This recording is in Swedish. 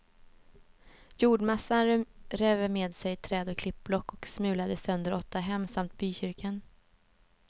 Jordmassan rev med sig träd och klippblock och smulade sönder åtta hem samt bykyrkan.